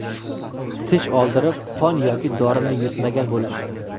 Tish oldirib, qon yoki dorini yutmagan bo‘lish.